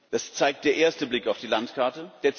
Das zeigt der erste Blick auf die Landkarte.